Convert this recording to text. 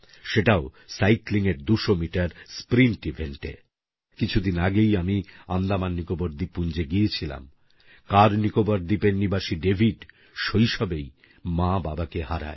সেটাও সাইক্লিংএর ২০০ metre sprint ইভেন্টে এবং আমার কাছে দ্বিগুণ খুশির কারণ কিছুদিন আগেই আমি আন্দামান নিকোবর দ্বিপপুঞ্জে গিয়েছিলাম কারনিকোবার দ্বীপের নিবাসী ডেভিড শৈশবেই মাবাবাকে হারায়